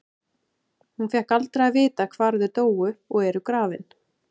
Hún fékk aldrei að vita hvar þau dóu og eru grafin.